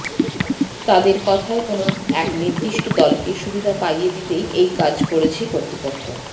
তাঁদের কথায় কোনও এক নির্দিষ্ট দলকে সুবিধা পাইয়ে দিতেই এই কাজ করেছে কর্তৃপক্ষ